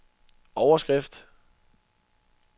overskrift